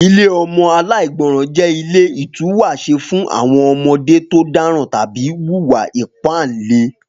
Ilé ọmọ aláìgbọràn jẹ́ ilé ìtúwàṣe fún àwọn ọmọdé tó dáràn tàbí wùwà ìpáǹle